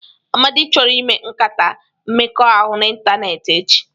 Amadi chọrọ ịme nkata mmekọahụ n'ịntanetị echi.